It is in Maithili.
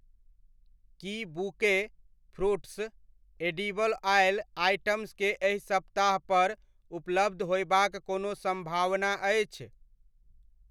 की bouquet, fruits, edible oil items के एहि सप्ताह पर उपलब्ध होयबाक कोनो सम्भावना अछि ?